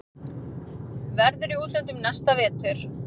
Verður í útlöndum næsta vetur.